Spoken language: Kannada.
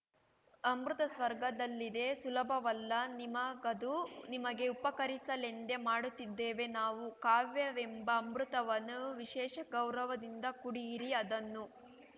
ಅಮೃತ ಸ್ವರ್ಗದಲ್ಲಿದೆ ಸುಲಭವಲ್ಲ ನಿಮಗದು ನಿಮಗೆ ಉಪಕರಿಸಲೆಂದೇ ಮಾಡುತ್ತಿದ್ದೇವೆ ನಾವು ಕಾವ್ಯವೆಂಬ ಅಮೃತವನ್ನು ವಿಶೇಷ ಗೌರವದಿಂದ ಕುಡಿಯಿರಿ ಅದನ್ನು